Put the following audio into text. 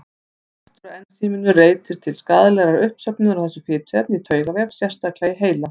Skortur á ensíminu leiðir til skaðlegrar uppsöfnunar á þessu fituefni í taugavef, sérstaklega í heila.